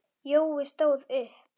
Jói stóð upp.